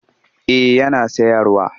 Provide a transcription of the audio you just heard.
Eh yana sayarwa